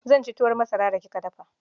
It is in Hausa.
Zan ci tuwon masara da kika dafa.